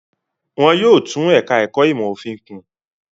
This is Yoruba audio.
Wọn yóò tún ẹ̀ka-ẹ̀kọ́ ìmọ̀-òfin kùn.